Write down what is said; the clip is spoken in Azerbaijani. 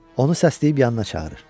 Onu səsləyib yanına çağırır.